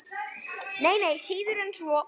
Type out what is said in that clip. Nei, nei, síður en svo.